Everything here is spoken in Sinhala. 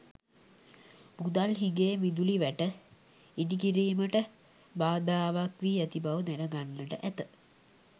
මුදල් හිඟය විදුලි වැට ඉදිකිරීමට බාධාවක් වී ඇති බව දැනගන්නට ඇත.